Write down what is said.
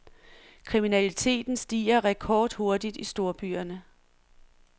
Kriminaliteten stiger rekordhurtigt i storbyerne.